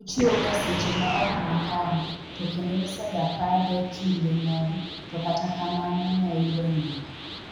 Ochiewo ga seche ma ok makare to kendo nsega pade kinde moro to kata kamano ne oyudo nindo."